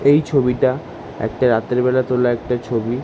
এই ছবিটা একটা রাতের বেলা তোলা একটা ছবি ।